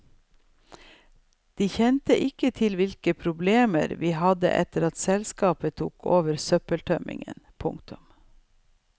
De kjente ikke til hvilke problemer vi hadde etter at selskapet tok over søppeltømmingen. punktum